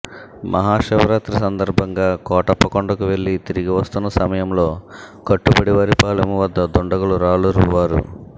మహాశివరాత్రి సందర్భంగా కోటప్పకొండకు వెళ్లి తిరిగి వస్తున్న సమయంలో కట్టుబడివారిపాలెం వద్ద దుండగులు రాళ్లు రువ్వారు